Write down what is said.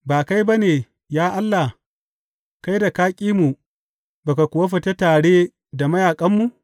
Ba kai ba ne, ya Allah, kai da ka ƙi mu ba ka kuwa fita tare da mayaƙanmu?